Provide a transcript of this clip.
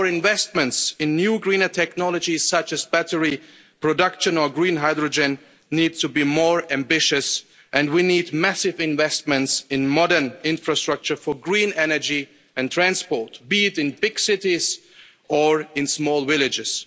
Our investment in new greener technologies, such as battery production and green hydrogen, needs to be more ambitious and we need massive investment in modern infrastructure for green energy and transport, be it in big cities or in small villages.